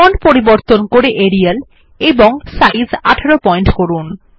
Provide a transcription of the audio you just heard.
font পরিবর্তন করে Arial এবং সাইজ ১৮ পয়েন্ট করুন